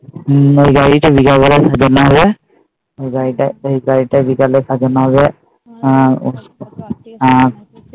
হম ওই গাড়িটা বিকালে সাজানো হবে ওই গাড়িটা বিকালে সাজানো হবে আর আর